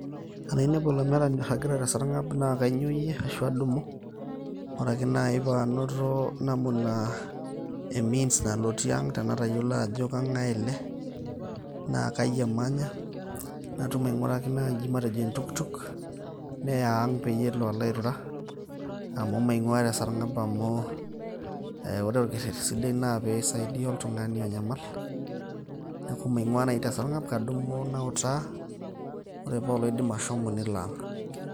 Tenainepu olamerani oiragita te sarngab naa kainyoyie ashu adumu araki nai panoto namuna e means nalotie ang tenatayiolo Ajo kengae ele na kai emanya natum ainguraki nai matejo entukutuk neya Ang peyie elo airura amu maingwaa te sarngab amu ore entoki sidai naa pisaidia oltungani onyamal amu maingwa naji tesargab ,kadum nautaa ore paa oloidim ashomo nelo Ang